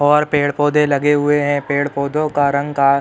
और पेड़ पौधे लगे हुए हैं। पेड़ पौधों का रंग का--